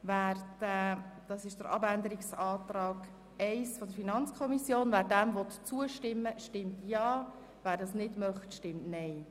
Wer der Planungserklärung 1 der FiKo-Mehrheit zustimmt, stimmt Ja, wer diese ablehnt, stimmt Nein.